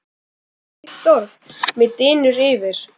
hvílíkt orð mig dynur yfir!